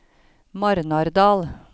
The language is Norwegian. Marnardal